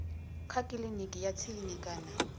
kha kiliniki ya tsini kana